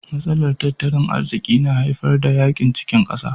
Matsalar tattalin arziki na haifar da yakin cikin kasa.